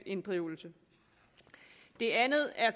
inddrivelse det andet er